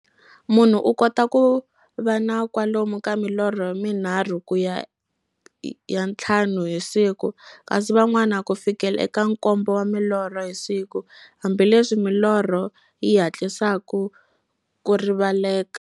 Munhu u kota ku va na kwalomu ka milorho minharhu ku ya ka ya nthlanu hi siku, kasi van'wana ku fikela eka nkombo wa milorho hi siku, hambileswi milorho yi hatlisaka ku rivaleka.